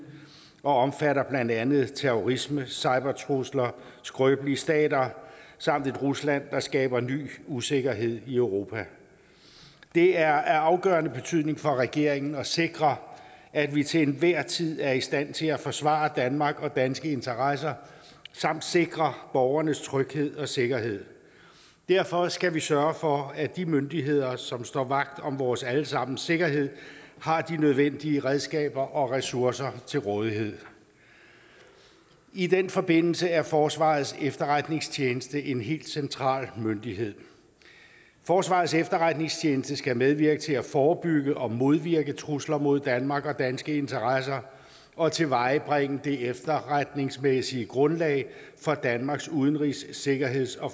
og omfatter blandt andet terrorisme cybertrusler skrøbelige stater samt et rusland der skaber ny usikkerhed i europa det er af afgørende betydning for regeringen at sikre at vi til enhver tid er i stand til at forsvare danmark og danske interesser samt sikre borgernes tryghed og sikkerhed derfor skal vi sørge for at de myndigheder som står vagt om vores alle sammens sikkerhed har de nødvendige redskaber og ressourcer til rådighed i den forbindelse er forsvarets efterretningstjeneste en helt central myndighed forsvarets efterretningstjeneste skal medvirke til at forebygge og modvirke trusler mod danmark og danske interesser og tilvejebringe det efterretningsmæssige grundlag for danmarks udenrigs sikkerheds og